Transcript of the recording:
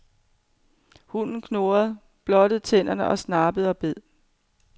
Hunden knurrede, blottede tænder, snappede og bed.